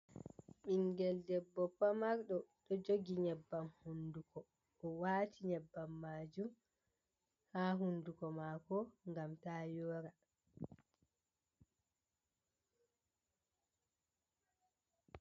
Ɓingel debbo pamarjo ɗo jogi nyebbam hunduko o wati nyebbam majum ha hunduko mako ngam ta yora.